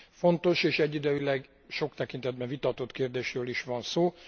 Fontos és egyidejűleg sok tekintetben vitatott kérdésről is van szó.